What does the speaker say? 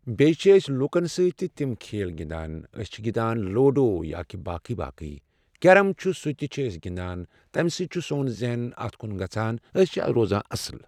بیٚیہِ چھِ أسۍ لوٗکَن سٕتۍ تہِ تِم کھیل گِنٛدان أسۍ چھِ گِنٛدان لوٗڑو یا کہ باقٕے باقٕے۔ کٮ۪رَم چھُ سُہ تہِ چھِ أسۍ گِنٛدان تمہِ سۭتۍ چھِ سون ذہن اتھ کن گژھان أسۍ چھِ روزان اَصٕل